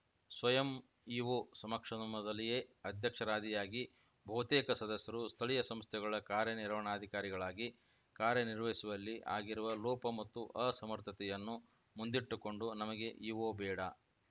ಸ್ವಯಂ ಇಒ ಸಮಕ್ಷಮದಲ್ಲಿಯೇ ಅಧ್ಯಕ್ಷರಾದಿಯಾಗಿ ಬಹುತೇಕ ಸದಸ್ಯರು ಸ್ಥಳೀಯ ಸಂಸ್ಥೆಗಳ ಕಾರ್ಯನಿರ್ವಹಣಾಧಿಕಾರಿಗಳಾಗಿ ಕಾರ್ಯನಿರ್ವಹಿಸುವಲ್ಲಿ ಆಗಿರುವ ಲೋಪ ಮತ್ತು ಅಸಮರ್ಥತೆಯನ್ನು ಮುಂದಿಟ್ಟುಕೊಂಡು ನಮಗೆ ಇಒ ಬೇಡ